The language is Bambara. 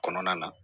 Kɔnɔna na